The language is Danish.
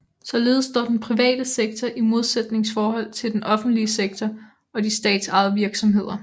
Således står den private sektor i modsætningsforhold til den offentlige sektor og de statsejede virksomheder